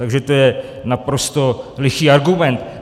Takže to je naprosto lichý argument.